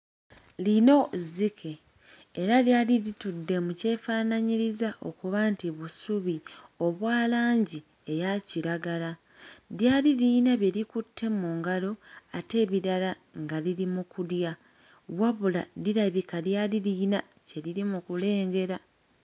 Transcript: Lino zzike era lyali litudde mu kyefaanaanyiriza okuba nti busubi obwa langi eya kiragala. Lyali liyina bye likutte mu ngalo ate ebirala nga liri mu kulya. Wabula lirabika lyali lirina kye liri mu kulengera.